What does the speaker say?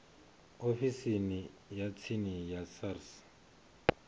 ofisini ya tsini ya sars